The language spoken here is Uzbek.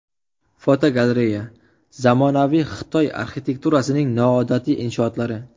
Fotogalereya: Zamonaviy Xitoy arxitekturasining noodatiy inshootlari.